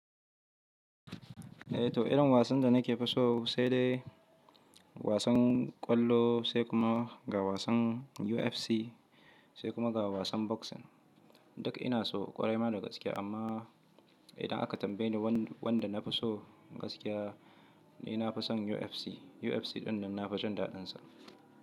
Eh to irin wasan da nake fi so sai dai wasan ƙwallo sai kuma ga wasan UFC sai kuma ga wasan boxing. Duk ina so ƙwarai ma da gaske amma idan aka tambaye ni wanda nafi so gaskiya ni nafi son UFC. UFC ɗinnan nafi jin daɗinsa.